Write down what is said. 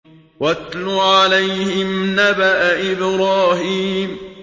وَاتْلُ عَلَيْهِمْ نَبَأَ إِبْرَاهِيمَ